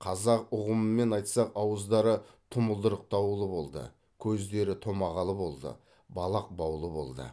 қазақ ұғымымен айтсақ ауыздары тұмылдырықтаулы болды көздері томағалы болды балақ баулы болды